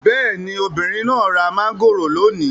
Bẹ́ẹ̀ni, obìnrin náà ra mangoro lónìí